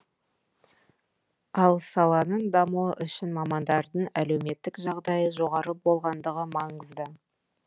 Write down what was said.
ал саланың дамуы үшін мамандардың әлеуметтік жағдайы жоғары болғандығы маңызды